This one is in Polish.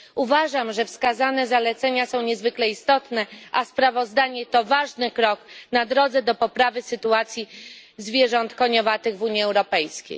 Uważam, że wskazane zalecenia są niezwykle istotne, a sprawozdanie stanowi ważny krok na drodze do poprawy sytuacji zwierząt koniowatych w Unii Europejskiej.